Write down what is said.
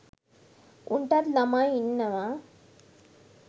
උන්ටත් ළමයි ඉන්නව.